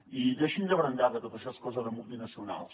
i deixin de brandar que tot això és cosa de multinacionals